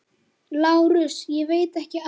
LÁRUS: Ég veit ekki annað.